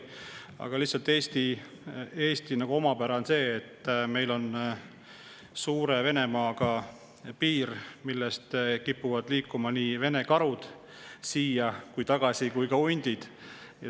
Aga Eesti omapära on see, et meil on piir suure Venemaaga ning karud ja hundid kipuvad liikuma sealt siia ja tagasi.